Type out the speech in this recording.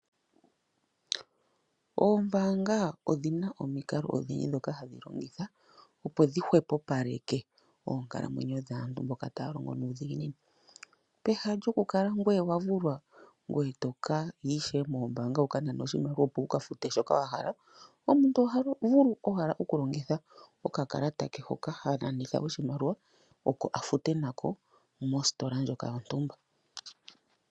Oombaanga odhina omikalo odhindji ndhoka hadhi longitha opo dhi hwepopaleke oonkalamwenyo dhaantu mboka taya longo nuudhiginini. Peha lyokukala ngoye owa vulwa ngoye tokaya ishewe mombaanga wuka nane oshimaliwa opo wuka fute shoka wa hala . Omuntu oha vulu owala okulongitha okakalata hoka ha nanitha oshimaliwa oko afute nako mostola ndjoka yontumba.